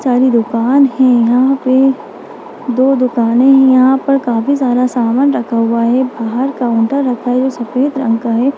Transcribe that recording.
सारी दुकान है यहाँ पे दो दुकाने हैं यहाँ पर काफी सारा सामान रखा हुआ है बाहर काउंटर रखा है जो सफ़ेद रंग का है ।